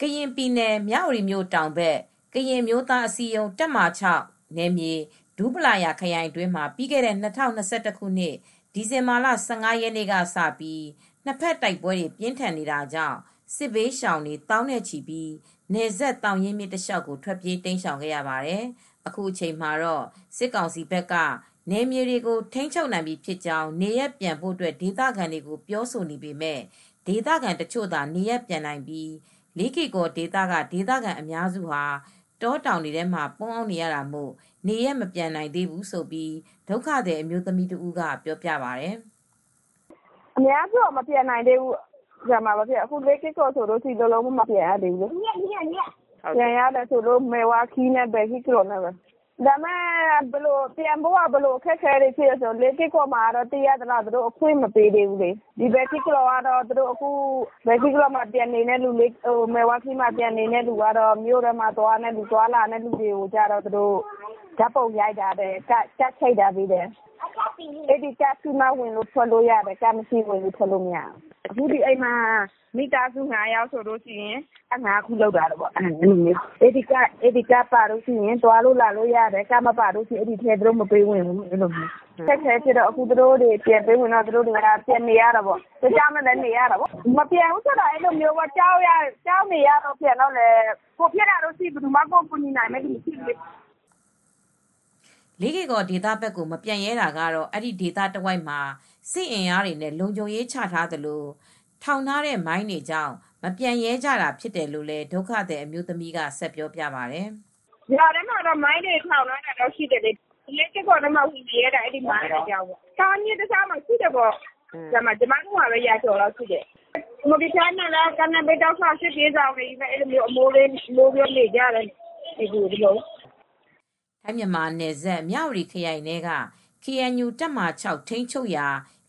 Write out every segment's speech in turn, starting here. ကရင်ပြည်နယ် မြဝတီမြို့ တောင်ဘက် ကရင်အမျိုးသားအစည်းအရုံး KNU တပ်မဟာ(၆) ဒူးပလာယာခရိုင်အတွင်းမှာ ပြီးခဲ့တဲ့၂၀၂၁ ခုနှစ် ဒီဇင်ဘာလ (၁၅) ရက်နေ့ ကစပြီး နှစ်ဖက်တိုက်ပွဲတွေ ပြင်းထန်တာကြောင့် စစ်ဘေးရှောင်တွေ သောင်းနဲ့ချီပြီး နယ်စပ်သောင်ရင်းမြစ် တလျှောက်ထွက်ပြေး တိမ်းရှောင်ခဲ့ရပါတယ်။ အခု အချိန်မှတော့ စစ်ကောင်စီဘက်က နယ်မြေတွေကို ထိမ်းချုပ်နိုင်ပြီဖြစ်ကြောင်း နေရပ်ပြန်ဖို ဒေသခံတွေကို ပြောဆိုပေမဲ့ ဒေသခံတချို့သာ နေရပ်ပြန်နိုင်ပြီး လေးကေ့ကော်ဒေသက ဒေသခံအများစုဟာ တောတောင်ထဲမှာ ပုန်းအောင်းနေရတာမို့ နေရပ်မပြန်နိုင်သေးဘူးလို့ ဒုက္ခသည် အမျိုးသမီးတဦးက အခုလိုပြောပါတယ်။ " အခုက မပြန်နိုင်သေးဘူး ။ အခု လေးကေ့ကော် ဆိုရင် လုံးလုံးဘယ်လိုမှ ပြန်လို့မရသေးဘူး ။ ပြန်ရတယ်ဆိုလို့ မဲဝါးခီး နဲ့ ပဟိကလော် နဲ့ပဲ ပြန်ရတယ် ဆိုတာကတော့ လေးကေ့ကော် ကတော့ ပြန်ဖို့ခွင့် မပေးသေးဘူး ။ ပဟိကလောတို့ မဲ့ဝါးခီး တို့ ကပြန်တဲ့သူတွေကတော့ မြို့ထဲမှာ သွားလာနေတဲ့ သူတွေကိုကျတော့ ဓါတ်ပုံရိုက်ပေးတယ် ။ သူတို့ ကဒ်ထုတ်ပေးထားတယ် ။ ကဒ်ရှိမှ ဝင်လို့ ထွက်လို့ရတယ် ။ ကဒ်မရှိရင် ဝင်ထွက်ခွင့် မရဘူး ။ အခု ဒီအိမ်မှာ မိသားစု ၅ယောက်ဆိုရင် ကဒ်က ၅ခုလုပ်ပေးထားတယ်။ ကဒ်ပါမှ သွားလာလို့ရတယ် ။ ကဒ်မပါရင်တော့ သူတို့ဝင်ထွက်လို့မရဘူး။ အခက်အခဲဖြစ်တော့ သူတို့လည်း ပြန်ဝင်နေရတာပေါ့ ။ကြောက်ကြောက်ရွံ့ရွံ့နဲ့ နေရတာပေါ့။ မပြန်ဘူးဆိုတာ ကြောက်နေရတော့ ပြန်နေလို့ တခုခုဖြစ်ရင် ကိုယ်ဖြစ်ကိုယ်ခံပဲ ။ ဘယ်သူမှ ကူမယ့်သူရှိမှာမဟုတ်ဘူး" လေးကေ့ကော်ဒေသဘက်ကို မပြန်ရဲတာကတော့ အဲဒီဒေသတဝိုက် မှာ စစ်အင်အားတွေနဲ့ လုံခြုံရေးချထားသလို ထောင်ထားတဲ့မိုင်းတွေကြောင့် မပြန်ရဲကြတာဖြစ်တယ်လို့လည်း ဒုက္ခသည် အမျိုးသမီး က ဆက်ပြောပြပါတယ်။ " ရွာထဲမှာတော့ မိုင်းတွေ ထောင်ထားတာတွေရှိတယ်။ လေးကေ့ကော် က မပြန်ရဲကြတာ အဲဒီမိုင်းတွေကြောင့်ပဲ။ သောင်ရင်းမြစ်တလျှောက်မှာ စစ်ဘေးရှောင်တွေရှိတယ်။ ကျမတို့ နေရာမှာပဲ ရာကျော်ရှိတယ်။ မော်လီချိုင်းတလျှောက် စစ်ဘေးရှောင်တွေ တဲလေးတွေ အမိုးလေးတွေ လုပ်ပြီး နေကြတာပဲ" ထိုင်း မြန်မာနယ်စပ် မြဝတီခရိုင်ထဲက KNU တပ်မဟာ ၆ ထိန်းချုပ်ရာ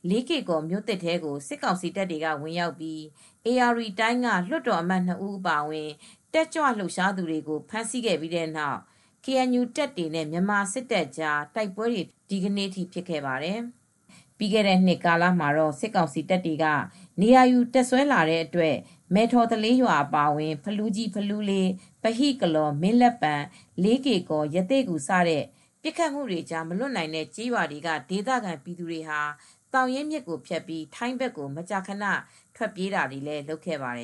လေးကေကော်မြို့သစ် ထဲကို စစ်ကောင်စီတပ်တွေ ဝင်ရောက်ပြီး ဧရာဝတီတိုင်းက လွှတ်တော်အမတ် ၂ ဦး အပါအဝင် တက်ကြွလှုပ်ရှားသူ လူငယ်တွေကို ဖမ်းဆီးခဲ့ပြီးတဲ့နောက် KNU တပ်တွေနဲ့ မြန်မာစစ်တပ်ကြား တိုက်ပွဲတွေ ဒီနေ့ထိ ဆက်ဖြစ်ခဲ့ပါတယ်။ ပြီးခဲတဲ့နှစ် ကာလမှာ စစ်ကောင်စီတပ်တွေက နေရာယူ တပ်စွဲလာတဲ့အတွက် မဲ့ထော်သလေး အပါအဝင် ဖလူးကြီး၊ ဖလူးလေး၊ ပဟိကလော်၊ မင်းလက်ပံ၊ လေးကေ့ကော်၊ ရသေ့ဂူ စတဲ့ ပစ်ခတ်မှုတွေကြား မလွတ်နိုင်တဲ့ ကျေးရွာတွေက ဒေသခံပြည်သူတွေဟာ သောင်ရင်းမြစ်ကိုဖြတ်ပြီး ထိုင်းဘက်ကို မကြာခန ထွက်ပြေးတာတွေလုပ်ခဲ့ပါတယ